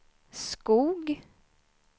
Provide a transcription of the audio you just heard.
Skog